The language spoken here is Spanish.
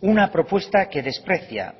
una propuesta que desprecia